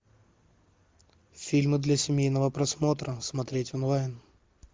фильмы для семейного просмотра смотреть онлайн